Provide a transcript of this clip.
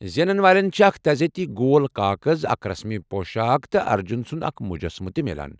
زینن والٮ۪ن چھ اکھ تعریفی گول كاكز، اکھ رسمی پۄشاک، تہٕ ارجن سنٛد اكھ مٗجسمہٕ تِہ میلان۔